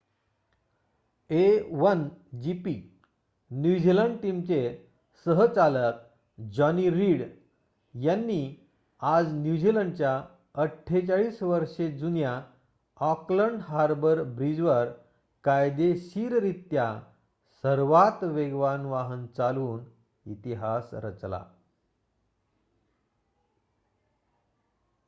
a1gp New Zealand टीमचे सह-चालक Johnny Reid यांनी आजन्यूझीलंडच्या 48 वर्षे जुन्या ऑकलंड हार्बर ब्रिजवर कायदेशीररित्या सर्वात वेगवान वाहन चालवून इतिहास रचला